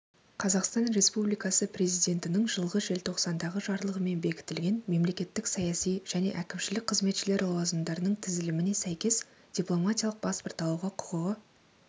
қазақстан республикасы президентінің жылғы желтоқсандағы жарлығымен бекітілген мемлекеттік саяси және әкімшілік қызметшілер лауазымдарының тізіліміне сәйкес дипломатиялық паспорт алуға құқығы